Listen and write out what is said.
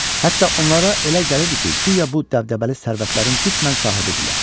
Hətta onlara elə gəlirdi ki, guya bu dəbdəbəli sərvətlərin qismən sahibidirlər.